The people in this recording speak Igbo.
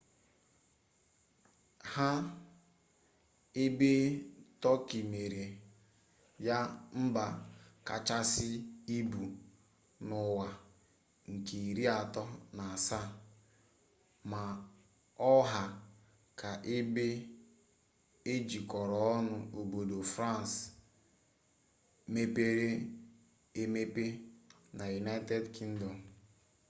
nha ebe tọki mere ya mba kachasị ibu n'ụwa nke iri atọ na asaa ma ọ ha ka ebe e jikọtara ọnụ obodo frans mepere emepe na united kingdom